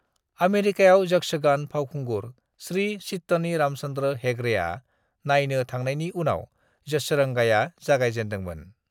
आमेरिकायाव यक्षगान फावखुंगुर श्री चित्तनी रामचंद्र हेगड़ेआ नायनो थांनायनि उनाव यक्षरंगाया जागाय जेनदों मोन।